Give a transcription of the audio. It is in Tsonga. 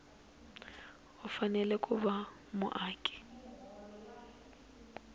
u fanele ku va muaka